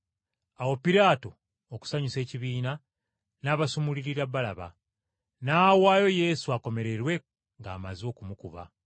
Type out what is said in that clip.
Awo Piraato okusanyusa ekibiina, n’abasumululira Balaba. N’awaayo Yesu akomererwe ng’amaze okumukuba.